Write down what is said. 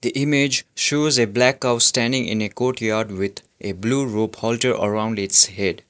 the image shows a black cow standing in a courtyard with a blue rope halter around it's head.